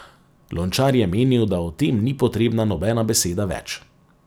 Lončar je menil, da o tem ni potrebna nobena beseda več.